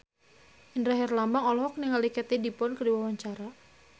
Indra Herlambang olohok ningali Katie Dippold keur diwawancara